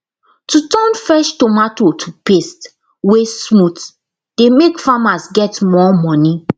to turn fresh tomato to paste wey smooth dey make farmers get more money